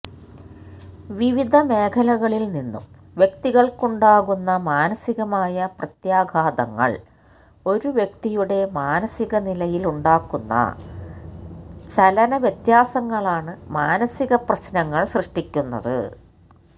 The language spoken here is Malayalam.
വിവിധ മേഖലകളില് നിന്നും വ്യക്തികള്ക്കുണ്ടാകുന്ന മാനസികമായ പ്രത്യാഘാതങ്ങള് ഒരു വ്യക്തിയുടെ മാനസിക നിലയില് ഉണ്ടാക്കുന്ന ചലന വ്യത്യാസങ്ങളാണ് മാനസികപ്രശ്നങ്ങള് സൃഷ്ടിക്കുന്നത്